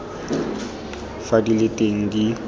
fa di le teng di